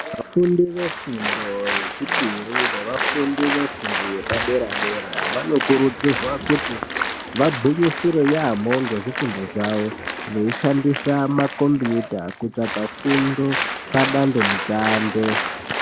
Vafundi vefundo yechipiri nevafundi vefundo yepadera-dera vanokurudzirwa kuti vagwinyisire yaamho ngezvifundo zvavo veishandisa makombiyuta kutsvaga fundo padandemutande.